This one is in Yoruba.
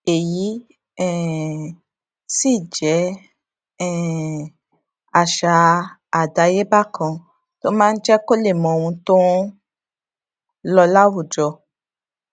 èyí um sì jé um àṣà adayeba kan tó máa ń jé kó lè mọ ohun tó ń lọ láwùjọ